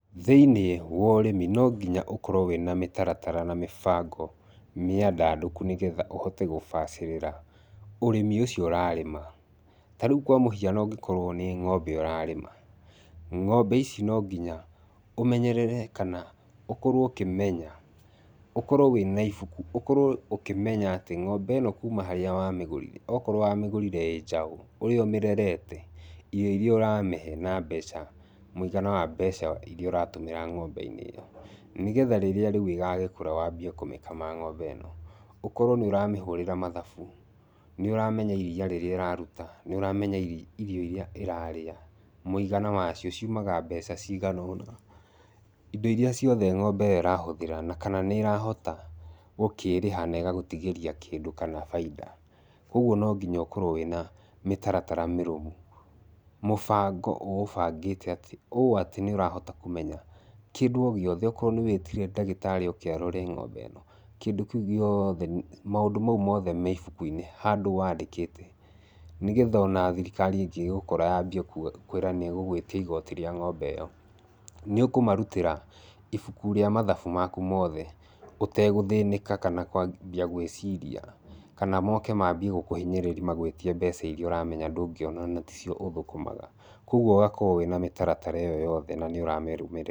Thĩiniĩ wa ũrĩmi, no nginya ũkorwo wĩna mĩtaratara na mĩbango mĩandandũku nĩgetha ũhote gũbacĩrĩra ũrĩmi ũcio ũrarĩma. Ta rĩu kwa mũhiano ũngĩkorwo nĩ ng'ombe ũrarĩma, ng'ombe ici no nginya ũmenyerere kana ũkorwo ũkĩmenya, ũkorwo wĩna ibuku, ũkorwo ũkĩmenya atĩ ng'ombe ĩno kuuma harĩa wamĩgũrire, okorwo wamĩgũrire ĩĩ njaũ, ũrĩa ũmĩrerete, irio irĩa ũramĩhe na mbeca. Mũigana wa mbeca irĩa ũratũmĩra ng'ombe-inĩ ĩyo. Nĩ getha rĩrĩa rĩu ĩgagĩkura wambie kũmĩkama ng'ombe ĩno, ũkorwo nĩ ũramĩhũrĩra mathabu, nĩ ũramenya iriia rĩrĩa ĩraruta, nĩ ũramenya irio irĩa ĩrarĩa. Mũigana wa cio ciumaga mbeca cigana ũna. Indo irĩa ciothe ng'ombe ĩyo ĩrahũthĩra, na kana nĩ ĩrahota gũkĩrĩha na ĩgagũtigĩria kĩndũ kana baida. Kũguo no nginya ũkorwo wĩna mĩtaratara mĩrũmu. Mũbango ũũbangĩte atĩ, ũũ atĩ nĩ ũrahota kũmenya, kĩndũ o gĩothe, okorwo nĩ wĩtire ndagĩtarĩ oke arore ng'ombe ĩno. Kĩndũ kĩu gĩothe, maũndũ mau mothe me ibuku-inĩ, handũ wandĩkĩte. Nĩgetha ona thirikari ĩngĩgũkora yambie kwĩra nĩ ĩgũgũĩtia igoti rĩa ng'ombe ĩyo, nĩ ũkũmarutĩra ibuku rĩa mathabu maku mothe ũtegũthĩnĩka kana kwambia gwĩciria. Kana moke mambie gũkũhinyĩrĩri magũĩtie mbeca irĩa ũramenya ndũngĩona na ticio ũthũkũmaga. Kũguo ũgakorwo wĩna mĩtaratara ĩyo yothe na nĩ ũramĩrũmĩrĩra.